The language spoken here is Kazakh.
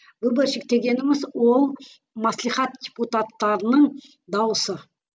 выборщик дегеніміз ол маслихат депутаттарының дауысы